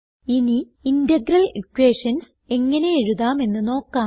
ഇനി integral equations എങ്ങനെ എഴുതാമെന്ന് നോക്കാം